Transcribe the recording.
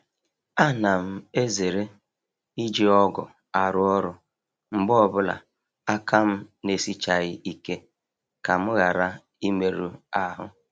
A na m ezere iji ọgụ arụ ọrụ mgbe ọbụla aka m n'esichaaghị ike ka m ghara imerụ ahụ.